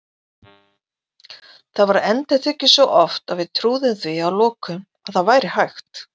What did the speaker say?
Þetta var endurtekið svo oft að við trúðum því að lokum að það væri hægt.